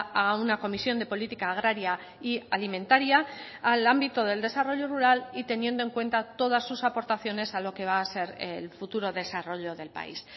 a una comisión de política agraria y alimentaria al ámbito del desarrollo rural y teniendo en cuenta todas sus aportaciones a lo que va a ser el futuro desarrollo del país